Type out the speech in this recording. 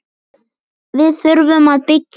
Við þurfum að byggja meira.